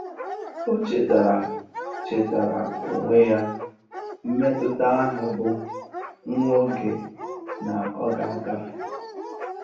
Ó chétáárá chétáárá ónwé yá mmétụ́tà áhụ̀ bụ́ nwá óge nà ọ́ gà-àgáfé.